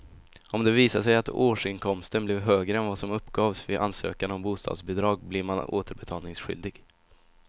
Om det visar sig att årsinkomsten blev högre än vad som uppgavs vid ansökan om bostadsbidrag blir man återbetalningsskyldig.